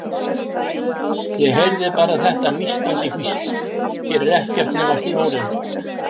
Ég heyrði bara þetta nístandi hvísl: Hér er ekkert nema sjórinn.